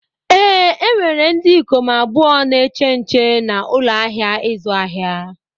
Ee, e nwere ndị ikom abụọ na-eche nche na ụlọ ahịa ịzụ ahịa.